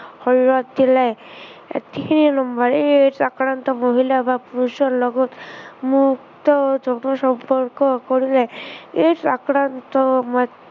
শৰীৰত দিলে, সেই number সেই AIDS আক্ৰান্ত মহিলা বা পুৰুষৰ লগত মুক্ত যৌন সম্পৰ্ক কৰিলে AIDS আক্ৰান্ত